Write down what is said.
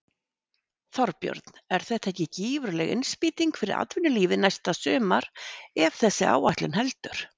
Þorbjörn: Er þetta ekki gífurleg innspýting fyrir atvinnulífið næsta sumar ef þessi áætlun heldur?